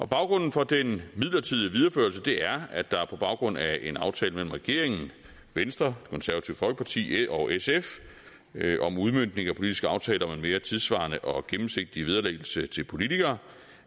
baggrunden for den midlertidige videreførelse er at der på baggrund af en aftale mellem regeringen venstre konservative folkeparti og sf om udmøntning af politiske aftaler om en mere tidssvarende og gennemsigtig vederlæggelse til politikere